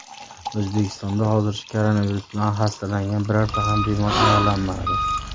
O‘zbekistonda hozircha koronavirus bilan xastalangan birorta ham bemor aniqlanmadi.